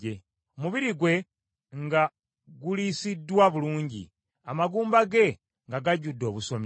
omubiri gwe nga guliisiddwa bulungi, amagumba ge nga gajjudde obusomyo.